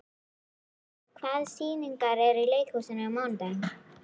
Meda, hvaða sýningar eru í leikhúsinu á mánudaginn?